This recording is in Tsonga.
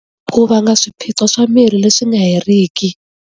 Ku vanga swiphiqo swa mirhi leswi nga heriki.